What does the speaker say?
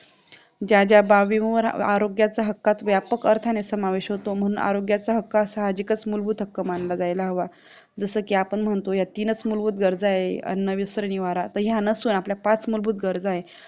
ज्याज्या आरोग्याचा हक्कात व्यापक अर्थाने समावेश होतो म्हणून आरोग्याचा हक्क हा साहजिकच मूलभूत हक्क मानला जायला हवा जस की आपण म्हणतो ह्या तीनच मूलभूत गरजा आहेत अन्न वस्त्र निवारा तर ह्या नसून आपल्या पाच मूलभूत गरजा आहे